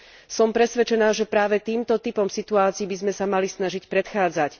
Som presvedčená, že práve týmto typom situácií by sme sa mali snažiť predchádzať.